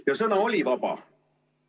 Ja sõna oli vaba.